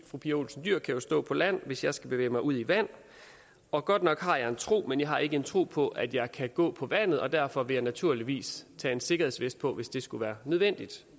fru pia olsen dyhr kan jo stå på land hvis jeg skal bevæge mig ud i vand og godt nok har jeg en tro men jeg har ikke en tro på at jeg kan gå på vandet og derfor vil jeg naturligvis tage en sikkerhedsvest på hvis det skulle være nødvendigt